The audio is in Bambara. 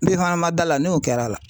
N'i fana man d'a la n'o kɛr'a la.